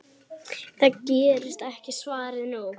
Það gerðist ekkert, svaraði hún.